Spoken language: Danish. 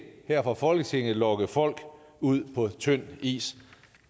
her fra folketingets side lokke folk ud på tynd is